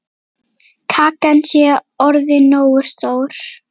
Kakan sé orðin nógu stór.